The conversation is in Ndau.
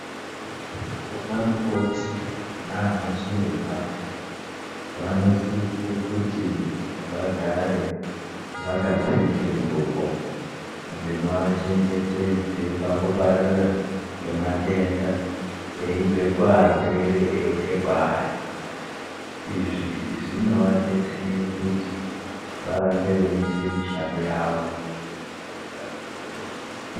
Vanamukoti nanachiremba vanosise kuti vagare vakapfeke ngugo dzinovachengetedze pakupararira kwematenda eibve kuvarwre eiuye kwaari, izvi zvinovadetsere kuti varambe veiite mishando yavo.